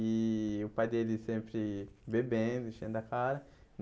E o pai dele sempre bebendo, enchendo a cara.